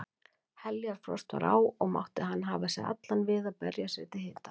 Heljarfrost var á og mátti hann hafa sig allan við að berja sér til hita.